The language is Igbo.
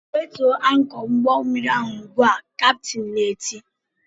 "Wetuo ankọ ụgbọmmiri ahụ ugbu a!" kaptin na-eti